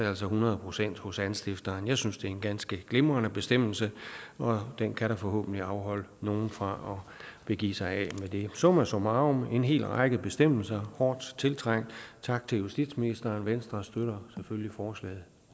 altså hundrede procent hos anstifteren jeg synes at det er en ganske glimrende bestemmelse og den kan da forhåbentlig afholde nogle fra at give sig af med det summa summarum det er en hel række bestemmelser hårdt tiltrængte tak til justitsministeren venstre støtter selvfølgelig forslaget